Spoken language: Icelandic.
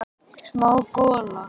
Smá gola.